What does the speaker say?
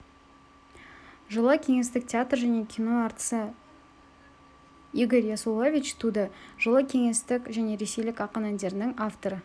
жылы кеңестік театр және кино әртісі игорь ясулович туды жылы кеңестік және ресейлік ақын әндердің авторы